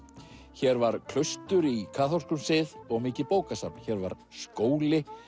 hér var klaustur í kaþólskum sið og mikið bókasafn hér var skóli